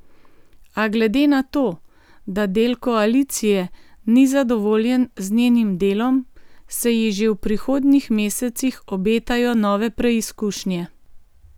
A glede na to, da del koalicije ni zadovoljen z njenim delom, se ji že v prihodnjih mesecih obetajo nove preizkušnje.